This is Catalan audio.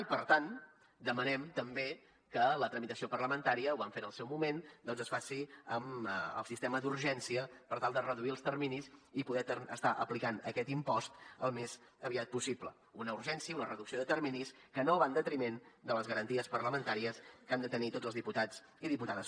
i per tant demanem també que la tramitació parlamentària ho vam fer en el seu moment doncs es faci amb el sistema d’urgència per tal de reduir els terminis i poder estar aplicant aquest impost al més aviat possible una urgència una reducció de terminis que no va en detriment de les garanties parlamentàries que han de tenir tots els diputats i diputades